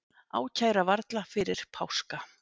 Ákæra varla fyrir páska